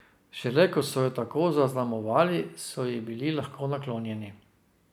Šele ko so jo tako zaznamovali, so ji bili lahko naklonjeni.